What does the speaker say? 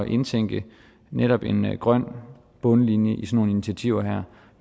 indtænke netop en grøn bundlinje i sådan nogle initiativer her